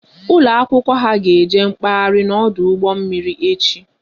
Ụlọ akwụkwọ ha ga eje mkpaghari n'ọdụ ụgbọ mmiri echi